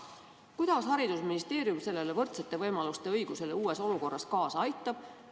Kuidas haridusministeerium võrdsete võimaluste tagamisele uues olukorras kaasa aitab?